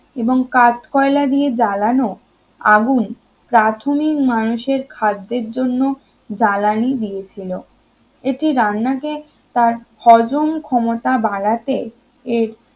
এবং কাঠকয়লা দিয়ে জ্বালানো প্রাথমিক মানুষের খাদ্যের জন্য জ্বালানি দিয়েছিল এটি রান্না কে তার হজম ক্ষমতা বাড়াতে এর